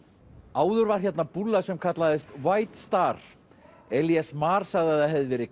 áður var hérna búlla sem kallaðist star Elías Mar sagði að það hefði verið